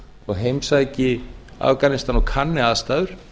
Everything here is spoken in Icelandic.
og heimsæki afganistan og kanni aðstæður